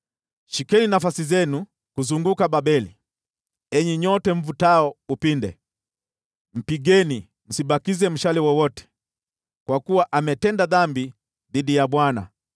“Shikeni nafasi zenu kuzunguka Babeli, enyi nyote mvutao upinde. Mpigeni! Msibakize mshale wowote, kwa kuwa ametenda dhambi dhidi ya Bwana .